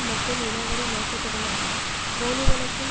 மற்றும் இனவெறி நோக்கத்துடனான போலிவழக்கில்